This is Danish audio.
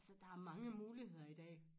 Altså der er mange muligheder i dag